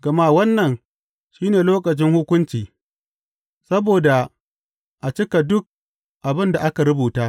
Gama wannan shi ne lokacin hukunci, saboda a cika duk abin da aka rubuta.